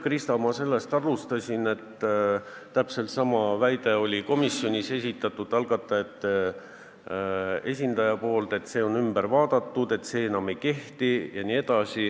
Krista, ma sellest alustasin, et algatajad väitsid komisjonis, et seda on muudetud, et see reegel enam ei kehti.